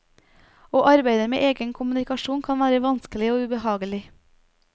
Å arbeide med egen kommunikasjon kan være vanskelig og ubehagelig.